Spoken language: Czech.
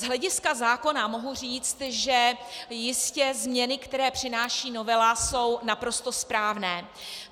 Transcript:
Z hlediska zákona mohu říct, že jistě změny, které přináší novela, jsou naprosto správné.